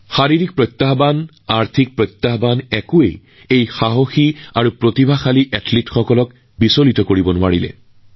শাৰীৰিক প্ৰত্যাহ্বান আৰু অৰ্থনৈতিক প্ৰত্যাহ্বান এই সাহসী আৰু প্ৰতিভাৱান খেলুৱৈসকলৰ সন্মুখত উফৰি পৰিছিল